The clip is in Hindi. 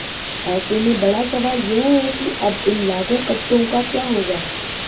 ऐसे में बड़ा सवाल यह है कि अब इन लाखों कट्टों का क्या होगा